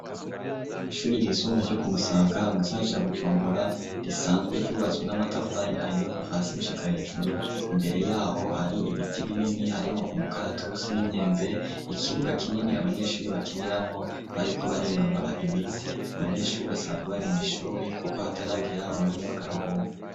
Kw'ishuri ryisumbuye ryo ku Musaga mu gisagara ca Bujumbura, risanzwe ryubatswe n'amatafari ahiye kuva hasi gushika hejuru, imbere y'aho har'ibiti binini harimwo umukaratusi n'imyembe, ikibuga kinini abanyeshuri bakiniramwo bariko barinonora imitsi. Abanyeshuri basanzwe bari mw'ishuri kuko hataragera umanya w'akaruhuko.